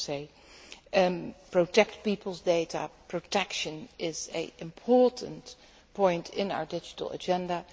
On the issue of protecting people's data, protection is an important point in our digital agenda.